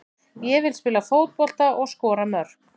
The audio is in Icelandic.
Ég vil spila fótbolta og skora mörk.